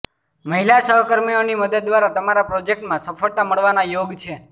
મહિલા સહકર્મીઓની મદદ દ્વારા તમારા પ્રોજેક્ટમાં સફ્ળતા મળવાના યોગ છે